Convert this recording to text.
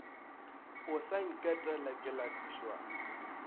o sa nketela ke lapišwa